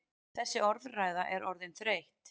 Þessi orðræða er orðin þreytt!